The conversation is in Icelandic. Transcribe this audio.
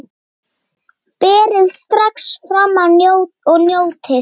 Berið strax fram og njótið!